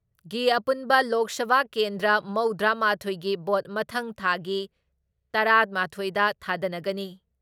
ꯒꯤ ꯄꯨꯟꯅ ꯂꯣꯛ ꯁꯚꯥ ꯀꯦꯟꯗ꯭ꯔ ꯃꯧꯗ꯭ꯔꯥ ꯃꯥꯊꯣꯏ ꯒꯤ ꯚꯣꯠ ꯃꯊꯪ ꯊꯥꯒꯤ ꯇꯔꯥ ꯃꯥꯊꯣꯏ ꯗ ꯊꯥꯗꯅꯒꯅꯤ ꯫